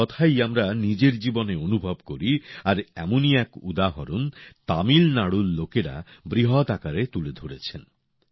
এই কথাই আমরা নিজের জীবনে অনুভব করি আর এমনই এক উদাহরণ তামিলনাড়ুর লোকেরা বৃহৎ আকারে তুলে ধরেছেন